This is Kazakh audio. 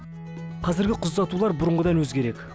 қазірге қыз ұзатулар бұрынғыдан өзгерек